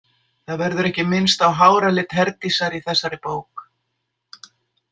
Það verður ekki minnst á háralit Herdísar í þessari bók.